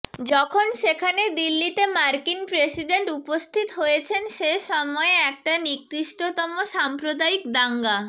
যখন সেখানে দিল্লিতে মার্কিন প্রেসিডেন্ট উপস্থিত হয়েছেন সে সময়ে একটা নিকৃষ্টতম সাম্প্রদায়িক দাঙ্গা